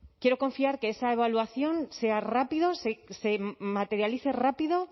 quiero confiar que esa evaluación sea rápida se materialice rápida